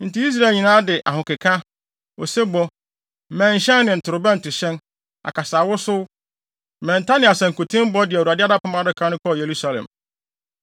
Enti Israel nyinaa de ahokeka, osebɔ, mmɛnhyɛn ne ntorobɛntohyɛn, akasaewosow, mmɛnta ne asankutenbɔ de Awurade Apam Adaka no kɔɔ Yerusalem.